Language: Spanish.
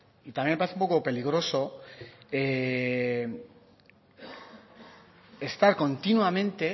y también me parece un poco peligroso estar continuamente